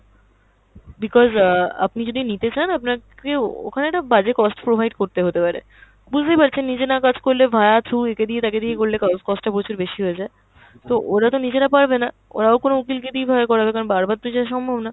because অ্যাঁ আপনি যদি নিতে চান আপনাকে ও~ ওখানে একটা বাজে cost provide করতে হতেপারে। বুঝতেই পারছেন নিজে না কাজ করলে via through একে দিয়ে, তাকে দিয়ে করলে cost টা প্রচুর বেশি হয়ে যায়। তো ওরা তো নিজেরা পারবেনা, ওরাও কোনো উকিলকে দিয়ে এইভাবে করাবে কারণ বার বার তো যাওয়া সম্ভব না।